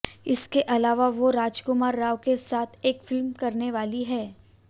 इसके अलावा वो राजकुमार राव के साथ एक फिल्म करने वाली हैं